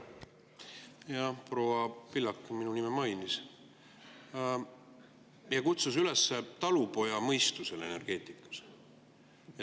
Jah, proua Pillak minu nime mainis ja kutsus üles talupojamõistusele energeetikas.